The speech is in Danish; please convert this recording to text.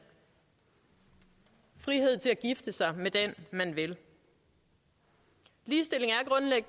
frihed til at gifte sig med den man vil ligestilling